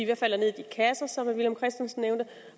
hvad falder ned i de kasser som herre villum christensen nævnte